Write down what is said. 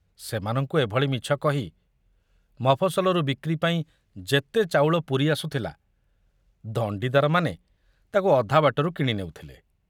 ସେମାନଙ୍କୁ ଏଭଳି ମିଛ କହି ମଫସଲରୁ ବିକ୍ରି ପାଇଁ ଯେତେ ଚାଉଳ ପୁରୀ ଆସୁଥିଲା, ଦଣ୍ଡିଦାରମାନେ ତାକୁ ଅଧା ବାଟରୁ କିଣି ନେଉଥିଲେ।